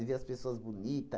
De ver as pessoas bonita